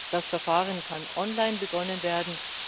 Das Verfahren kann online begonnen werden.